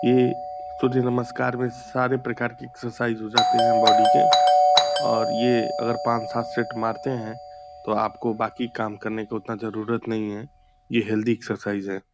ये सूर्य नमस्कार में सारे प्रकार की एक्सरसाइज हो जाते हैं बॉडी के और ये अगर पाँच सात सेट मारते हैं तो आपको बाकी काम करने का उतना जरूरत नहीं है। ये हेल्दी एक्सरसाइज है।